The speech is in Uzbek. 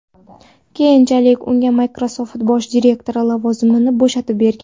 Keyinchalik unga Microsoft bosh direktori lavozimini bo‘shatib bergan.